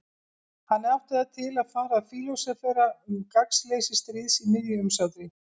Hann átti það til að fara að fílósófera um gagnsleysi stríðs í miðju umsátri.